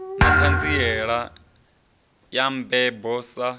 na ṱhanziela ya mabebo sa